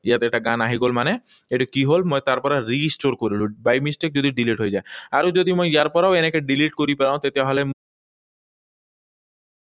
ইয়াত এটা গান আহি গল মানে এইটো কি হল? মই তাৰ পৰা restore কৰিলো, by mistake যদি delete হৈ যায়। আৰু যদি মই ইয়াৰ পৰাও এনেকৈ delete কৰি পেলাওঁ, তেতিয়াহলে